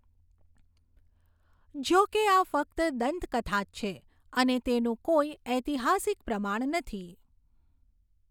જોકે આ ફક્ત દંતકથા જ છે અને તેનું કોઈ ઔતિહાસિક પ્રમાણ નથી.